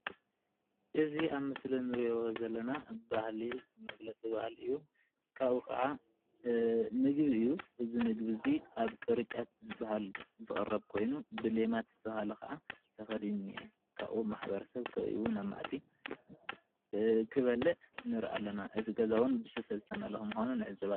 እዚ ኣብ ምስሊ እንሪኦ ዘለና መግለፂ ባህሊ እዩ፡፡ ካብኡ ከዓ ምግቢ እዩ፡ ፡እዚ ምግቢ ኣብ ቅርጫት ዝባሃል ዝቅረብ ኮይኑ ብሌማት ዝተባሃለ ከዓ ተከዲኑ እኒሄ፡፡ ካብኡ ማሕበረሰብ ከቢቡ ናብ ማኣዲ ክበልዕ ንርኢ ኣለና፡፡ እዚ ገዛ እውን ብስፈ ዝተመለአ ከም ዝኮነ ንዕዘብ ኣለና፡፡